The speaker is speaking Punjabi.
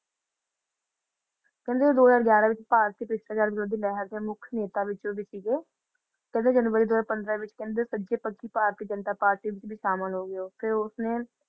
ਕਹਿੰਦੇ ਉਹ ਦੋ ਹਜ਼ਾਰ ਗਿਆਰਾ ਵਿੱਚ ਭਾਰਤੀ ਭ੍ਰਿਸ਼ਟਾਚਾਰ ਵਿਰੋਧੀ ਲਹਿਰ ਦੇ ਮੁੱਖ ਨੇਤਾਂ ਵਿੱਚੋਂ ਵੀ ਸੀਗੇ ਕਹਿੰਦੇ january ਦੋ ਹਜ਼ਾਰ ਪੰਦਰਾਂ ਦੇ ਵਿੱਚ ਕਹਿੰਦੇ ਸੱਜੇ ਪੱਖੀ ਭਾਰਤੀ ਜਨਤਾ ਪਾਰਟੀ ਵਿੱਚ ਸ਼ਾਮਲ ਹੋ ਗਏ ਓਥੇ ਉਸਨੇ